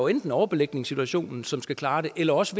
enten overbelægningssituationen som skal klare det eller også